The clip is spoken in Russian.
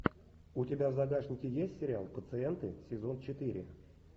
у тебя в загашнике есть сериал пациенты сезон четыре